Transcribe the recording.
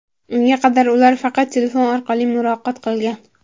Unga qadar ular faqat telefon orqali muloqot qilgan.